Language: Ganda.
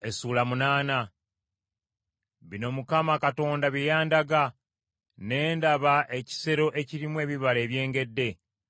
Bino Mukama Katonda bye yandaga. Ne ndaba ekisero ekirimu ebibala ebyengedde.